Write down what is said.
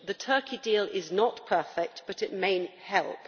The Turkey deal is not perfect, but it may help.